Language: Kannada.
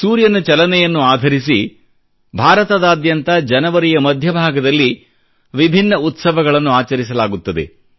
ಸೂರ್ಯನ ಚಲನೆಯನ್ನು ಆಧರಿಸಿ ಭಾರತದಾದ್ಯಂತ ಜನವರಿಯ ಮಧ್ಯ ಭಾಗದಲ್ಲಿ ವಿಭಿನ್ನ ಉತ್ಸವಗಳನ್ನು ಆಚರಿಸಲಾಗುತ್ತದೆ